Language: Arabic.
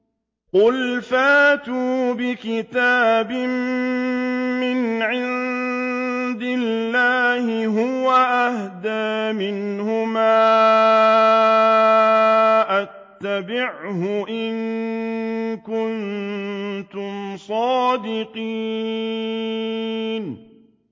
قُلْ فَأْتُوا بِكِتَابٍ مِّنْ عِندِ اللَّهِ هُوَ أَهْدَىٰ مِنْهُمَا أَتَّبِعْهُ إِن كُنتُمْ صَادِقِينَ